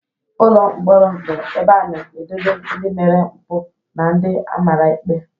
Ụlọ mkpọrọ bu ebe a na edobe ndi mere mpu na ndi amara ikpe.